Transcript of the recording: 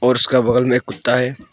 और उसका बगल में कुत्ता है।